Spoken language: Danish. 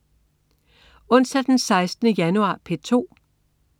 Onsdag den 16. januar - P2: